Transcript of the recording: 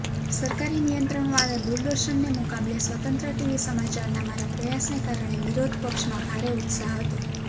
સરકારી નિયંત્રણવાળાં દૂરદર્શનને મુકાબલે સ્વતંત્ર ટીવી સમાચારના મારા પ્રયાસને કારણે વિરોધપક્ષમાં ભારે ઉત્સાહ હતો